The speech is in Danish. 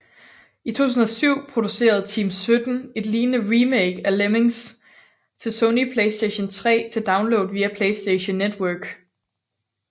I 2007 producerede Team17 et lignende remake af Lemmings til Sony PlayStation 3 til download via PlayStation Network